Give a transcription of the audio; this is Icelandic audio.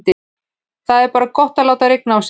Það er bara gott að láta rigna á sig.